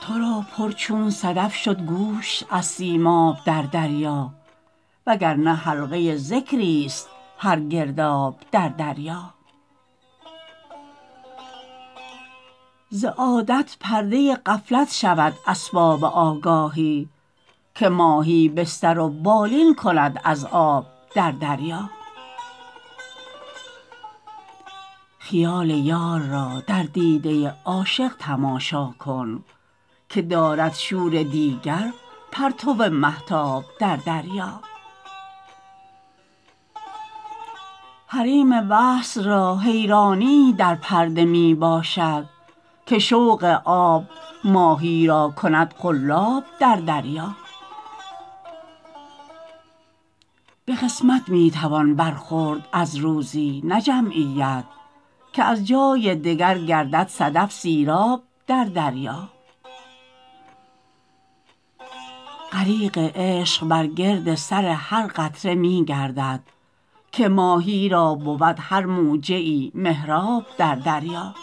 ترا پر چون صدف شد گوش از سیماب در دریا وگرنه حلقه ذکری است هر گرداب در دریا ز عادت پرده غفلت شود اسباب آگاهی که ماهی بستر و بالین کند از آب در دریا خیال یار را در دیده عاشق تماشا کن که دارد شور دیگر پرتو مهتاب در دریا حریم وصل را حیرانیی در پرده می باشد که شوق آب ماهی را کند قلاب در دریا به قسمت می توان برخورد از روزی نه جمعیت که از جای دگر گردد صدف سیراب در دریا غریق عشق بر گرد سر هر قطره می گردد که ماهی را بود هر موجه ای محراب در دریا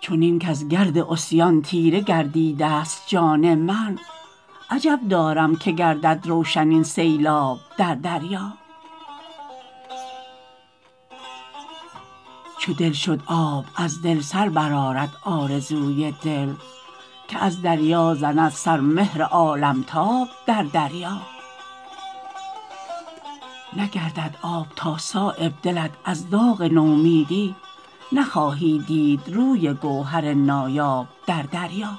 چنین کز گرد عصیان تیره گردیده است جان من عجب دارم که گردد روشن این سیلاب در دریا چو دل شد آب از دل سربرآرد آرزوی دل که از دریا زند سر مهر عالمتاب در دریا نگردد آب تا صایب دلت از داغ نومیدی نخواهی دید روی گوهر نایاب در دریا